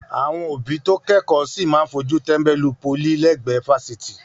Àwọn òbí tó kẹ́kọ̀ọ́ sì máa fojú tẹ́ńbẹ́lú pólì lẹ́gbẹ̀ẹ́ fásitì.